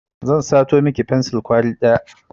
Zan sato miki fensur kwali ɗaya